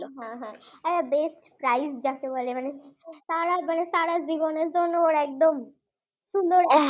হ্যাঁ হ্যাঁ, Best Prize যাকে বলে মানে তার আর তার আর জীবনের জন্য একদম সুন্দর,